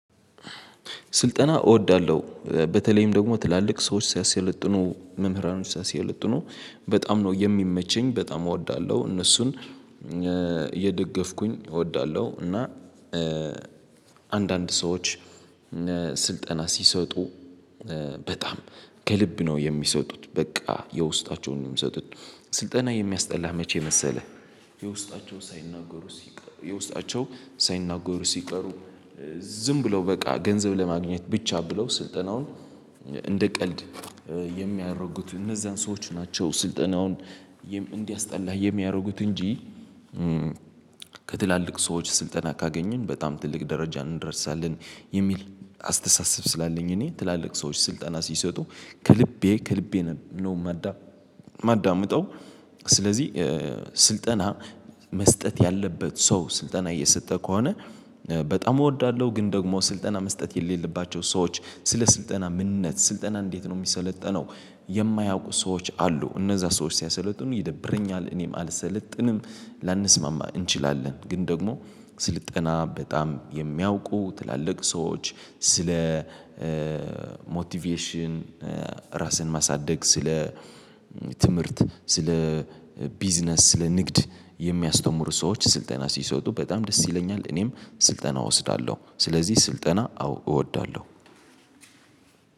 ስልጠና እወዳለሁ በተለይም ደግሞ ትላልቅ ሰዎች ሲያሰለጥኑ መምህራኖች ሲያሰለጥኑ በጣም ነው የሚመቸኝ በጣም እወዳለሁ እነሱን እየደገፍኩኝ እወዳለሁ። እና አንዳንድ ሰዎች ስልጠና ሲሰጡ በጣም ከልብ ነው የሚሰጡት በቃ የውስጣቸውን ነው የሚሰጡት። ስልጠና የሚያስጠላህ መቼ መሰለህ? ሳይናገሩ ሲቀሩ የውስጣቸው ሳይናገሩ ሲቀሩ ዝም ብለው በቃ ገንዘብ ለማግኘት ብቻ ብለው ስልጠናውን እንደ ቀልድ የሚያደርጉት እነዛን ሰዎች ናቸው ስልጠናውን እንዲያስጠላህ የሚያደርጉት። እንጂ ከትላልቅ ሰዎች ስልጠና ካገኘን በጣም ትልቅ ደረጃ እንድረሳለን የሚል አስተሳሰብ ስላለኝ እኔ ትላልቅ ሰዎች ስልጠና ሲሰጡ ከልቤ ከልቤ ነው ማዳ ማዳምጠው። ስለዚህ ስልጠና መስጠት ያለበት ሰው ስልጠና እየሰጠ ከሆነ በጣም እወዳለሁ። ግን ደግሞ ስልጠና መስጠት የሌለባቸው ሰዎች ስለ ስልጠና ምንነት ስልጠና እንዴት ነው የሚሰለጠነው? የማያውቁ ሰዎች አሉ እነዛ ሰዎች ሲያሰለጥኑ ይደብረኛል። እኔም አልሰለጥንም ላንስማማ እንችላለን። ግን ደግሞ ስልጠና በጣም የሚያውቁ ትላልቅ ሰዎች ስለ ሞቲቬሽን ራስን ማሳደግ ስለ ትምህርት ስለ ቢዝነስ ስለ ንግድ የሚያስተምሩ ሰዎች ስልጠና ሲሰጡ በጣም ደስ ይለኛል። እኔም ስልጠና እወስዳለሁ ስለዚህ ስልጠና አዎ እወዳለሁ።